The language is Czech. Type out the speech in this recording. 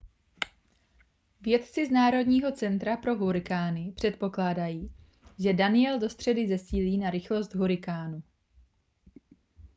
vědci z národního centra pro hurikány předpokládají že danielle do středy zesílí na rychlost hurikánu